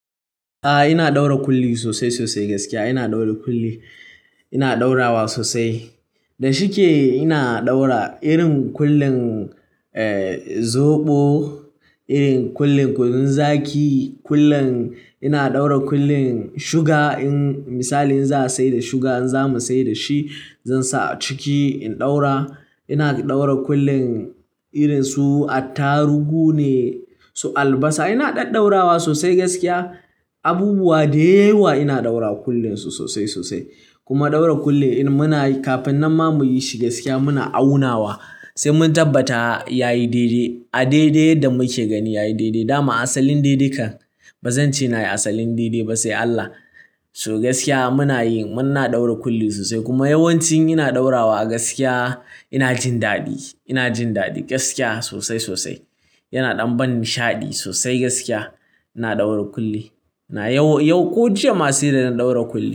A'a ina ɗaura kulli sosai sosai gaskiya ina ɗaura kulli. Ina ɗaurawa sosai. Da shike ina ɗaura irin kullin zoɓo, irin kullin kunun zaki, kullin ina ɗaura kullin suga in misali in za a sayar da suga in za mu sayar da shi, zan sa a ciki in ɗaura. Ina ɗaura kullin irin su attarugu ne su albasa. Ina ɗaɗɗaurawa sosai gaskiya. Abubuwa dayawa ina ɗaura kullinsu sosai sosai. Kuma ɗaura kulli irin muna kafin nan ma muyi shi gaskiya muna aunawa sai mun tabbata yayi daidai. A daidai da muke gani yayi daidai. Dama asalin daidai kam. Ba zan ce na yi asalin daidai ba sai Allah. So gaskiya muna yi muna ɗaura kulli sosai kuma yawancin ina ɗaurawa a gaskiya ina jin daɗi, ina jin daɗi gaskiya sosai sosai. Yana ɗan ban nishaɗi sosai gaskiya. Ina ɗaura kulli. Na yau yau ko jiya ma sai da na ɗaura kulli.